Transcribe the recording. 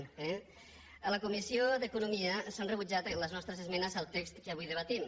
eh a la comissió d’economia s’han rebutjat les nostres esmenes al text que avui debatem